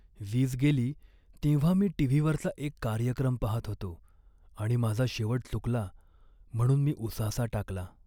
वीज गेली तेव्हा मी टी.व्ही.वरचा एक कार्यक्रम पाहत होतो आणि माझा शेवट चुकला म्हणून मी उसासा टाकला.